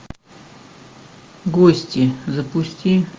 гости запусти